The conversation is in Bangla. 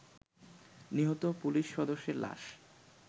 নিহত পুলিশ সদস্যের লাশ